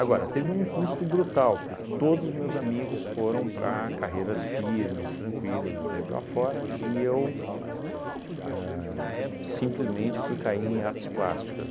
teve um custo brutal, porque todos os meus amigos foram para carreiras firmes, tranquilas, daí para fora, e eu simplesmente ahn fui cair em artes plásticas.